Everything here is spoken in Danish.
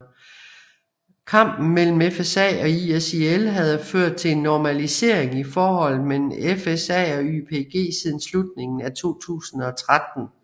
Kampen mellem FSA og ISIL havde ført til en normalisering i forholdet mellem FSA og YPG siden slutningen af 2013